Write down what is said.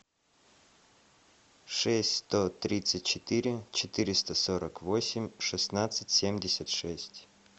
шесть сто тридцать четыре четыреста сорок восемь шестнадцать семьдесят шесть